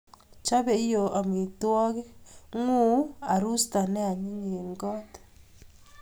Chobei iyoo amitwogik nguu arusta ne anyiny eng got